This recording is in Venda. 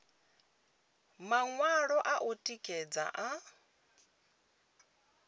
maṅwalo a u tikedza a